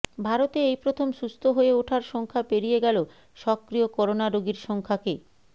ভারতে এই প্রথম সুস্থ হয়ে ওঠার সংখ্যা পেরিয়ে গেল সক্রিয় করোনা রোগীর সংখ্যাকে